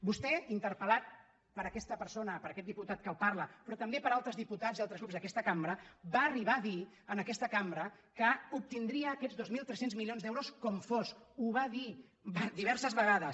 vostè interpelper aquest diputat que li parla però també per altres diputats i altres grups d’aquesta cambra va arribar a dir en aquesta cambra que obtindria aquests dos mil tres cents milions d’euros com fos ho va dir diverses vegades